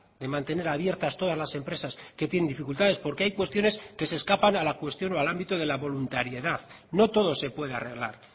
de mantener abiertas todas las empresas que tienen dificultades porque hay cuestiones que se escapan a la cuestión o al ámbito de la voluntariedad no todo se puede arreglar